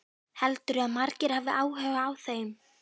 Heldurðu að margir hafi áhuga á þeim?